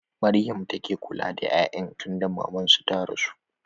Maryama take kula da 'ya'yan tunda maman su ta rasu.